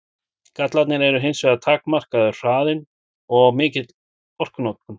Gallarnir eru hins vegar takmarkaður hraðinn og mikil orkunotkun.